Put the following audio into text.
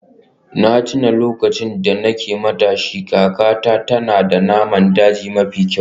Na tuna lokacin da nake matashi, kakarta tana da naman daji mafi kyau.